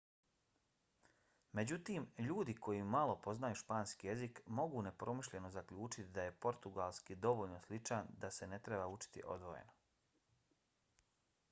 međutim ljudi koji malo poznaju španski jezik mogu nepromišljeno zaključiti da je portugalski dovoljno sličan da se ne treba učiti odvojeno